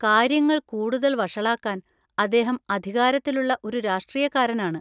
കാര്യങ്ങൾ കൂടുതൽ വഷളാക്കാൻ, അദ്ദേഹം അധികാരത്തിലുള്ള ഒരു രാഷ്ട്രീയക്കാരനാണ്.